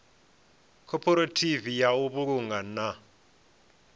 khophorethivi ya u vhulunga na